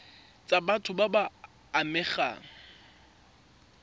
tsa batho ba ba amegang